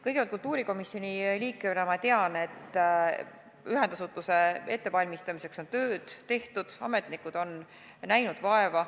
Kõigepealt, kultuurikomisjoni liikmena ma tean, et ühendasutuse ettevalmistamiseks on tööd tehtud, ametnikud on vaeva näinud.